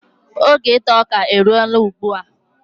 Oge ita ọka elo na ugbua